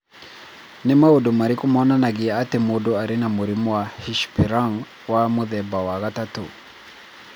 Nĩ maũndũ marĩkũ monanagia atĩ mũndũ arĩ na mũrimũ wa Hirschsprung wa mũthemba wa gatatũ?